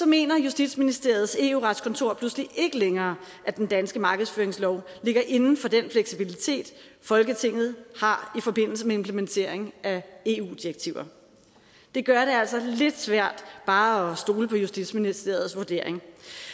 mener justitsministeriets eu retskontor pludselig ikke længere at den danske markedsføringslov ligger inden for den fleksibilitet folketinget har i forbindelse med implementering af eu direktiver det gør det altså lidt svært bare at stole på justitsministeriets vurdering